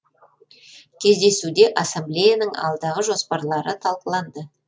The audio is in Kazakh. кездесуде ассамблеяның алдағы жоспарлары талқыланды